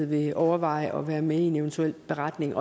vil overveje at være med i en eventuel beretning